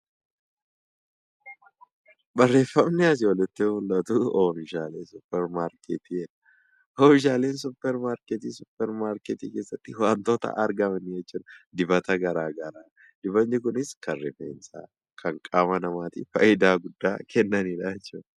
Oomishaaleen supermarketii supermarketii keessatti wantoota argamanii wantoota akka dibata garaa garaa dibatni kunis kan rifeensaa fi qaamaa namaaf bu'aa guddaa kennaniidha.